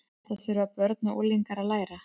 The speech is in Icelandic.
Þetta þurfa börn og unglingar að læra.